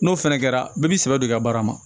N'o fɛnɛ kɛra bɛɛ b'i sɛbɛ don i ka baara ma